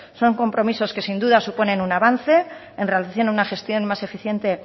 son compromisos que sin duda suponen un avance en relación a una gestión más eficiente